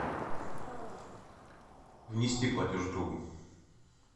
внести платеж другу